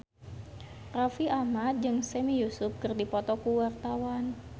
Raffi Ahmad jeung Sami Yusuf keur dipoto ku wartawan